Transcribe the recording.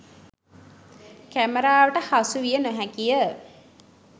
කැමරාවට හසු විය නොහැකිය